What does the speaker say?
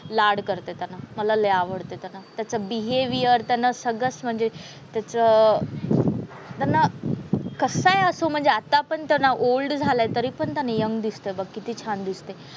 लाड करते त्यांना. मला लय आवडते त्यांना. त्याचं बिहेविअर त्यानं सगळंच म्हणजे त्याचं त्यानं कसाही असो म्हणजे आतापण त्यानं ओल्ड झालाय तरीपण त्यानं यंग दिसतंय बघ. किती छान दिसते.